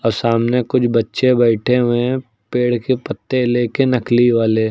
सामने कुछ बच्चे बैठे हुए हैं पेड़ के पत्ते ले के नकली वाले।